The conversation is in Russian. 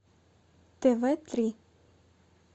тв три